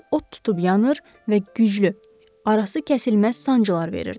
içi od tutub yanır və güclü, arası kəsilməz sancılar verirdi.